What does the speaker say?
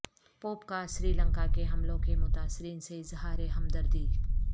pope کا سری لنکا کے حملوں کے متاثرین سے اظہار ہمدردی